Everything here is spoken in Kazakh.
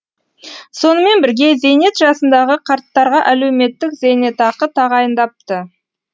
сонымен бірге зейнет жасындағы қарттарға әлеуметтік зейнетақы тағайындапты